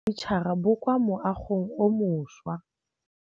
Mogokgo wa sekolo a re bosutô ba fanitšhara bo kwa moagong o mošwa.